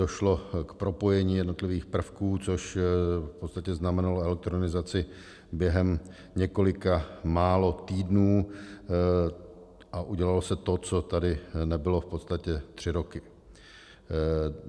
Došlo k propojení jednotlivých prvků, což v podstatě znamenalo elektronizaci během několika mála týdnů, a udělalo se to, co tady nebylo v podstatě tři roky.